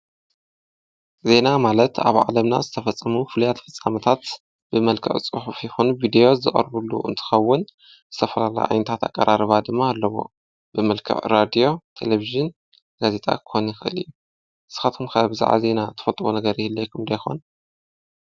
ዜና ማለት ኣብ ዓለምና ዝተፈጸሙ ፍልያት ፍጻመታት ብመልከቕ ጽሑ ፊኹን ቢዴዎ ዝቕርቡሉ እንትኸውን ሰፍራላ ኣይንታት ኣቐራርባ ድማ ኣለቦ ብመልከብ ራድዮ ተለብሽን ገዜጣ ኮኒኽ እዩ ስኻቶኩም ከበብ ዝዓ ዜይና ተፈጥቡ ነገር ህለ ይኹምዶይኾን